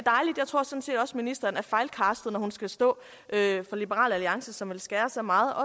ministeren er fejlcastet når hun skal stå for liberal alliance som vil skære så meget og